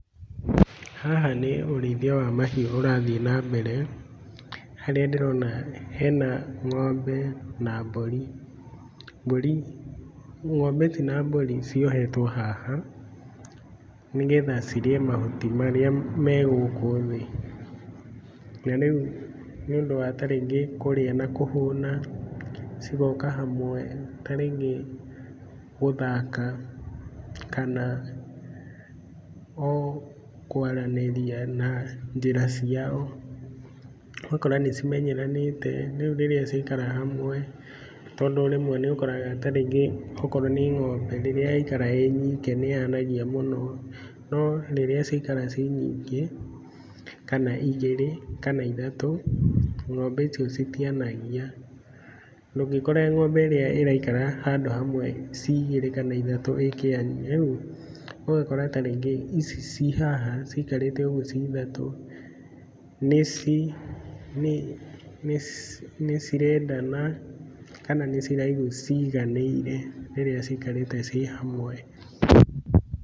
Haha nĩ ũrĩithia wa mahiũ ũrathiĩ na mbere. Harĩa ndĩrona hena ng'ombe na mbũri. Mbũri, ng'ombe ici na mbũri ciohetwo haha nĩgetha cirĩe mahuti marĩa me gũkũ thĩ. Na rĩu nĩũndũ wa ta rĩngĩ kũrĩa na kũhũna, cigoka hamwe ta rĩngĩ gũthaka kana o kwaranĩria na njĩra ciao. Ũgakora nĩcimenyeranĩte, rĩu rĩrĩa ciaikara hamwe tondũ rĩmwe nĩũkoraga ta rĩngĩ okorwo nĩ ng'ombe rĩrĩa yaikara ĩnyike nĩyanagia mũno, no rĩrĩa ciaikara ciĩ nyingĩ, kana igĩrĩ, kana ithatũ, ng'ombe icio citianagia. Ndũngĩkora ng'ombe ĩrĩa ĩraikara handũ hamwe ci igĩrĩ kana ithatũ ikĩania. Rĩu ũgakora ta rĩngĩ ici ci haha cikarĩte ũguo ci ithatũ, nĩcirendana kana nĩciraigu ciganĩire rĩrĩa cikarĩte ci hamwe.